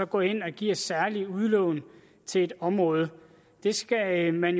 går ind og giver særlige udlån til et område det skal man